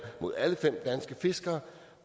mod alle fem danske fiskere